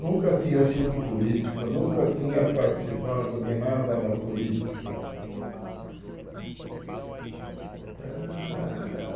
Nunca tinha sido político, nunca tinha participado de nada na política. Uhum Eh